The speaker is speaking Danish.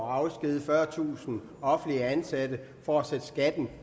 at afskedige fyrretusind offentligt ansatte for at sætte skatten